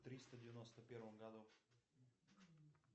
триста девяносто первом году